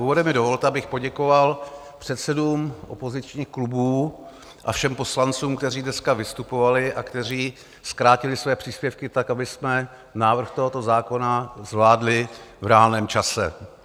Úvodem mi dovolte, abych poděkoval předsedům opozičních klubů a všem poslancům, kteří dneska vystupovali a kteří zkrátili své příspěvky tak, abychom návrh tohoto zákona zvládli v reálném čase.